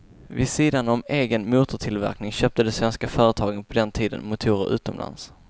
Vid sidan om egen motortillverkning köpte de svenska företagen på den tiden motorer utomlands.